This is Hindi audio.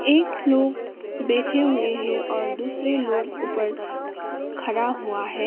एक लोग बैठे हुए हैं और दूसरे लोग ऊपर खड़ा हुआ है।